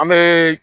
An bɛ